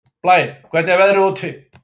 Blær, hvernig er veðrið úti?